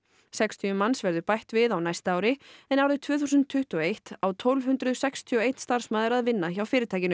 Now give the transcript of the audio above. sextíu manns verður bætt við á næsta ári en árið tvö þúsund tuttugu og eitt á tólf hundruð sextíu og einn starfsmaður að vinna hjá fyrirtækinu